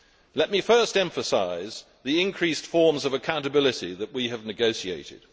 Let me first emphasise the increased forms of accountability that we have negotiated.